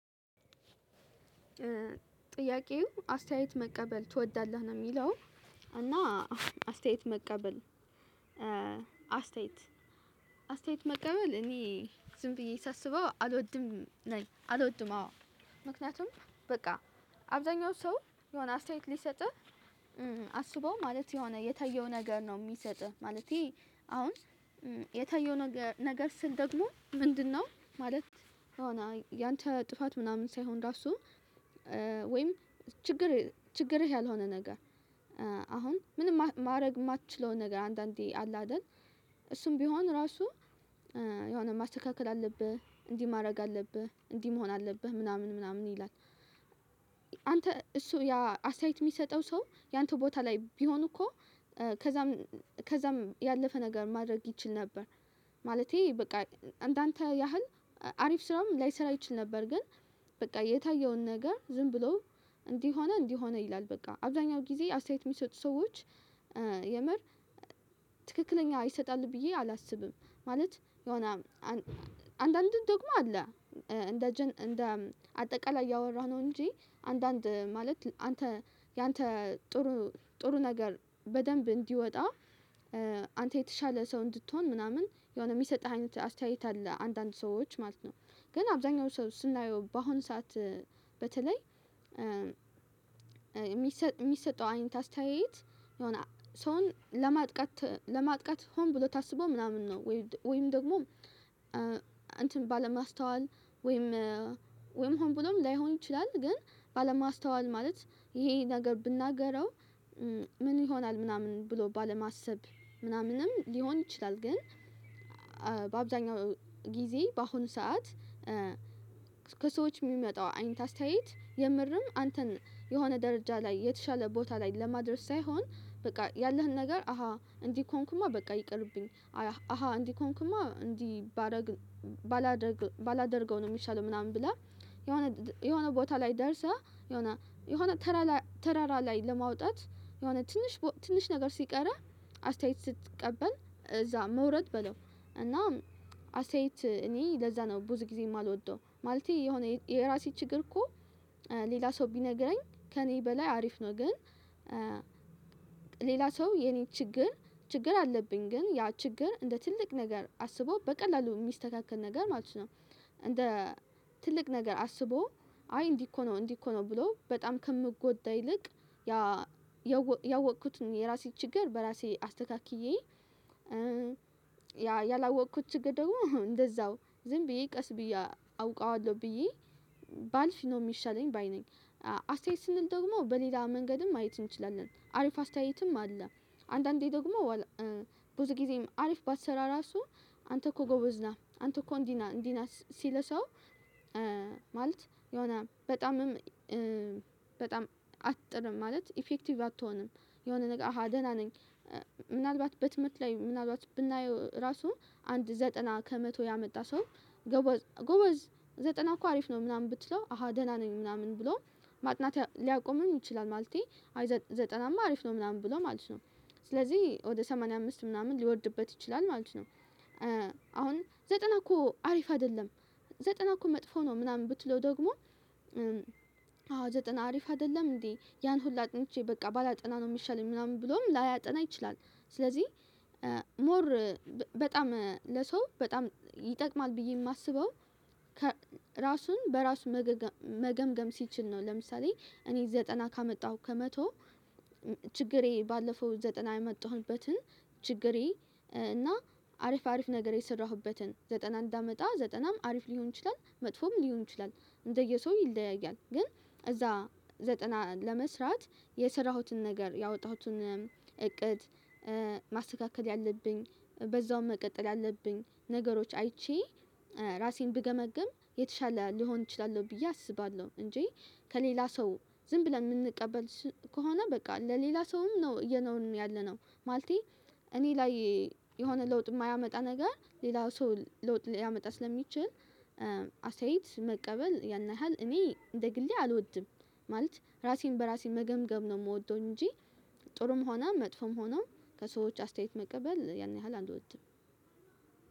ጥያቄው አስተያየት መቀበል ትወዳለህ ነው የሚለው? እና አስተያየት መቀበል። አስተያየት አስተያየት መቀበል እኔ ዝም ብዬ ሳስበው አልወድም ነኝ አልወድም አዎ። ምክንያቱም በቃ አብዛኛው ሰው የሆነ አስተያየት ሊሰጥህ አስበው ማለት የሆነ የታየው ነገር ነው የሚሰጥህ ማለቴ አሁን የታየው ነገር ስል ደግሞ ምንድነው? ማለት የሆነ ያንተ ጥፋት ምናምን ሳይሆን ራሱ ወይም ችግር ችግርህ ያልሆነ ነገር አሁን ምንም ማድረግ የማትችለውን ነገር አንዳንዴ አለ አይደል እሱም ቢሆን ራሱ የሆነ ማስተካከል አለብህ እንዲህ ማድረግ አለብህ እንዲህ መሆን አለብህ ምናምን ምናምን ይላል። አንተ እሱ ያ አስተያየት የሚሰጠው ሰው ያንተ ቦታ ላይ ቢሆን እኮ ከዛም ከዛም ያለፈ ነገር ማድረግ ይችል ነበር ማለቴ በቃ እንዳንተ ያህል አሪፍ ስራም ላይሰራ ይችል ነበር ግን በቃ የታየውን ነገር ዝም ብሎ እንዲህ ሆነ እንዲህ ሆነ ይላል በቃ አብዛኛው ጊዜ አስተያየት የሚሰጡ ሰዎች የምር ትክክለኛ ይሰጣሉ ብዬ አላስብም። ማለት የሆነ አንዳንድዱም ደግሞ አለ እንደ እንደ አጠቃላይ ያወራነው እንጂ አንዳንድ ማለት አንተ ያንተ ጥሩ ጥሩ ነገር በደንብ እንዲወጣ አንተ የተሻለ ሰው እንድትሆን ምናምን የሆነ የሚሰጥህ አይነት አስተያየት አለ አንዳንድ ሰዎች ማለት ነው። ግን አብዛኛው ሰው ስናየው በአሁኑ ሰዓት በተለይ የሚሰጠው አይነት አስተያየት የሆነ ሰውን ለማጥቃት ለማጥቀት ሆን ብሎ ታስቦ ምናምን ነው ወይም ደግሞ እንትን ባለማስተዋል ወይም ወይም ሆን ብሎም ላይሆን ይችላል ግን ባለማስተዋል ማለት ይሄ ነገር ብናገረው ምን ይሆናል ምናምን ብሎ ባለማሰብ ምናምንም ሊሆን ይችላል። ግን በአብዛኛው ጊዜ በአሁኑ ሰዓት ከሰዎች የሚመጣው አይንተ አስተያየት የምርም አንተን የሆነ ደረጃ ላይ የተሻለ ቦታ ላይ ለማድረስ ሳይሆን በቃ ያለህን ነገር አሃ እንዲህ ከሆንኩማ በቃ ይቅርብኝ አሃ እንዲህ ከሆንኩማ እንዲህ ባረግ ባላደርግ ባላደርገው ነው። የሚሻለው ምናምን ብለህ የሆነ የሆነ ቦታ ላይ ደርሰህ የሆነ የሆነ ተራራ ተራራ ላይ ለማውጣት የሆነ ትንሽ ትንሽ ነገር ሲቀረህ አስተያየት ስትቀበል እዛ መውረድ በለው እና አስተያየት እኔ ለዛ ነው ብዙ ጊዜ የማልወደው ማለቴ የሆነ የራሴ ችግር እኮ ሌላ ሰው ቢነግረኝ ከእኔ በላይ አሪፍ ነው ግን። ሌላ ሰው የኔ ችግር ችግር አለብኝ ግን ያ ችግር እንደ ትልቅ ነገር አስቦ በቀላሉ የሚስተካከል ነገር ማለት ነው። እንደ ትልቅ ነገር አስቦ አይ እንዲህ እኮ ነው እንዲህ እኮ ነው ብሎ በጣም ከምጎዳ ይልቅ ያ ያወቅኩት ነው የራሴ ችግር በራሴ አስተካክዬ ያ ያላወቅኩት ችግር ደግሞ እንደዛው ዝም ብዬ ቀስ ብዬ አውቃዋለሁ ብዬ ባልፍ ነው የሚሻለኝ ባይ ነኝ። አስተያየት ስንል ደግሞ በሌላ መንገድም ማየት እንችላለን አሪፍ አስተያየትም አለ አንዳንዴ ደግሞ ብዙ ጊዜም አሪፍ ባሰራ ራሱ አንተ እኮ ጎበዝ ነህ አንተ እኮ እንዲህ ነህ እንዲህ ነህ ሲልህ ሰው ማለት የሆነ በጣምም በጣም አትጥርም ማለት ኢፌክቲቭ አትሆንም የሆነ ነገር አሃ ደህና ነኝ። ምናልባት በትምህርት ላይ ምናልባት ብናየው ራሱ አንድ ዘጠና ከመቶ ያመጣ ሰው ጎበዝ ጎበዝ ዘጠና እኮ አሪፍ ነው ምናምን ብትለው አሃ ደህና ነኝ ምናምን ብሎ ማጥናት ሊያቆምም ይችላል ማለቴ አይ ዘጠናማ አሪፍ ነው ምናምን ብሎ ማለት ነው። ስለዚህ ወደ ሰማንያ አምስት ምናምን ሊወርድበት ይችላል ማለት ነው። አሁን ዘጠና እኮ አሪፍ አይደለም ዘጠና እኮ መጥፎ ነው ምናምን ብትለው ደግሞ አዎ ዘጠና አሪፍ አይደለም እንዴ ያን ሁላ አጥንቼ በቃ ባላጠና ነው የሚሻለኝ ምናምን ብሎም ላያጠና ይችላል። ስለዚህ ሞር በጣም ለሰው በጣም ይጠቅማል ብዬ የማስበው ራሱን በራሱ መገምገም ሲችል ነው ለምሳሌ እኔ ዘጠና ካመጣሁ ከመቶ ችግሬ ባለፈው ዘጠና የመጣሁበትን ችግሬ እና አሪፍ አሪፍ ነገር የሰራሁበትን ዘጠና እንዳመጣ ዘጠናም አሪፍ ሊሆን ይችላል መጥፎም ሊሆን ይችላል እንደየሰው ይለያያል ግን እዛ ዘጠና ለመስራት የሰራሁትን ነገር ያወጣሁትን እቅድ ማስተካከል ያለብኝ በዛውም መቀጠል ያለብኝ ነገሮች አይቼ ራሴን ብገመግም የተሻለ ልሆን እችላለሁ ብዬ አስባለሁ። እንጂ ከሌላ ሰው ዝም ብለን የምንቀበል ከሆነ በቃ ለሌላ ሰውም ነው እየኖርን ያለነው ማለቴ እኔ ላይ የሆነ ሐውጥ የማያመጣ ነገር ሌላው ሰው ለውጥ ሊያመጣ ስለሚችል አሰተያየት መቀበል ያን ያህል እኔ እንደ ግሌ አልወድም ማለት ራሴን በራሴ መገምገም ነው የምወደው። እንጂ ጥሩም ሆና መጥፎም ሆናው ከሰዎች አስተያየት መቀበል ያን ያህል አልወድም።